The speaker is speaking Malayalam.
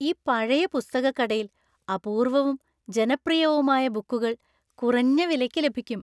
ഈ പഴയ പുസ്തകക്കടയില്‍ അപൂർവവും ജനപ്രിയവുമായ ബുക്കുകള്‍ കുറഞ്ഞ വിലയ്ക്ക് ലഭിക്കും.